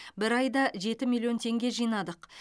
бір айда жеті миллион теңге жинадық